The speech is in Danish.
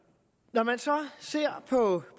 når man så ser på